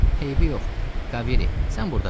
Eybi yox, Kaviri, sən burda qal.